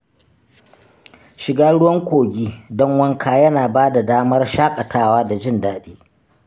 Shiga ruwan kogi don wanka yana ba da damar shaƙatawa da jin daɗi.